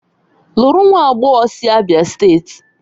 Lụrụ nwa agbọghọ sị Abia steeti!